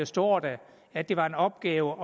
står der at det var en opgave